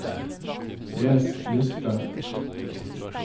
les liste